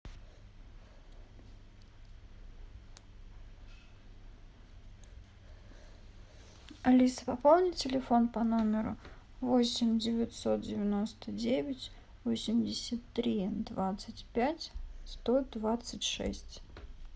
алиса пополни телефон по номеру восемь девятьсот девяносто девять восемьдесят три двадцать пять сто двадцать шесть